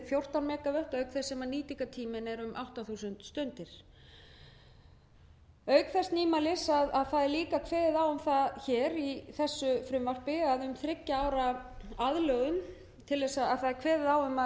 fjórtán megavött auk þess sem nýtingartíminn er um átta þúsund stundir auk þess nýmælis að það er líka kveðið á um það í þessu frumvarpi að um þriggja ára aðlögun það er kveðið á um